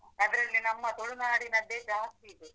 ಅದ್ರಲ್ಲಿ ನಮ್ಮ ತುಳುನಾಡಿನದ್ದೇ ಜಾಸ್ತಿ ಇದೆ.